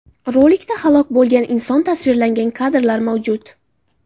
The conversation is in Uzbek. Rolikda halok bo‘lgan inson tasvirlangan kadrlar mavjud.